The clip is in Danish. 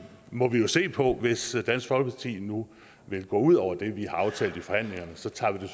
må vi jo se på hvis dansk folkeparti nu vil gå ud over det vi har aftalt i forhandlingerne så tager vi det